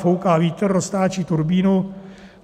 Fouká vítr, roztáčí turbínu.